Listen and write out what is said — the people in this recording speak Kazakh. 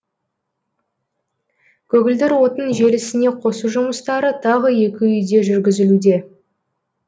көгілдір отын желісіне қосу жұмыстары тағы екі үйде жүргізілуде